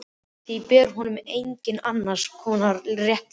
Því ber honum einnig annars konar réttlæti.